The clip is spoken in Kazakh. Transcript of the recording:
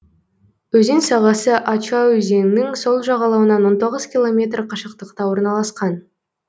өзен сағасы ача өзенінің сол жағалауынан он тоғыз километр қашықтықта орналасқан